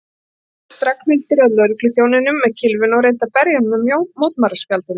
Þá réðst Ragnhildur að lögregluþjóninum með kylfuna og reyndi að berja hann með mótmælaspjaldinu.